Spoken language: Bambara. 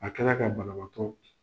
A kɛla ka banabatɔ